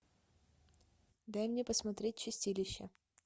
дай мне посмотреть чистилище